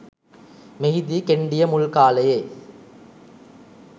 මෙහිදී කෙණ්ඩිය මුල් කාලයේ